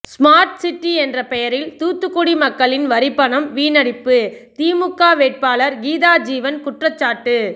smart city என்ற பெயரில் தூத்துக்குடி மக்களின் வரிப்பணம் வீணடிப்பு திமுக வேட்பாளர் கீதாஜீவன் குற்றச்சாட்டு